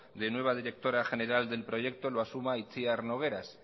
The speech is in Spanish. de nueva directora general del proyecto lo asuma itziar nogueras